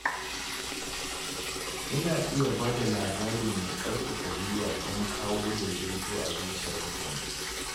Ina iya ba da labari mai ƙarfafa gwiwa don kawo daidaito a zuciyar mutane.